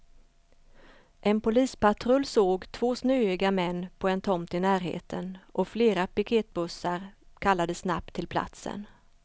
En polispatrull såg två snöiga män på en tomt i närheten och flera piketbussar kallades snabbt till platsen.